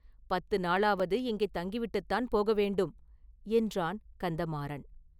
பத்து நாளாவது இங்கே தங்கிவிட்டுத்தான் போக வேண்டும்” என்றான் கந்தமாறன்.